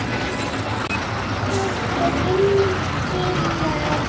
Blessuð sé minning Sifjar.